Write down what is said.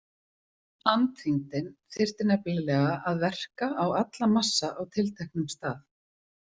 „Andþyngdin“ þyrfti nefnilega að verka á alla massa á tilteknum stað.